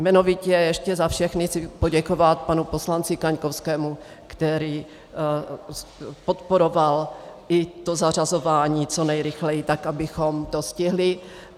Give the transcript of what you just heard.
Jmenovitě ještě za všechny chci poděkovat panu poslanci Kaňkovskému, který podporoval i to zařazování co nejrychleji, tak abychom to stihli.